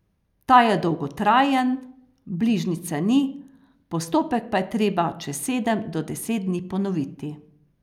Ta je dolgotrajen, bližnjice ni, postopek pa je treba čez sedem do deset dni ponoviti.